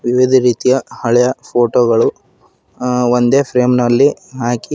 ವಿವಿಧ ರೀತಿಯ ಹಳೆಯ ಫೋಟೋ ಗಳು ಅ ಒಂದೇ ಫ್ರೇಮ್ ನಲ್ಲಿ ಹಾಕಿ--